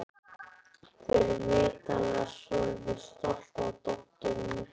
Þau eru vitanlega svolítið stolt af dótturinni.